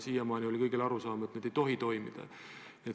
Siiamaani oli kõigil arusaam, et need ei tohi toimuda.